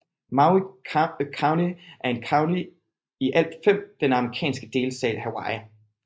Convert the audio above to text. Maui County er et county af i alt fem i den amerikanske delstat Hawaii